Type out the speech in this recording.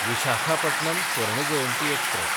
Visakhapatnam Swarna Jayanti express